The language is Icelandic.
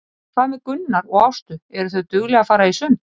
En hvað með Gunnar og Ástu, eru þau dugleg að fara í sund?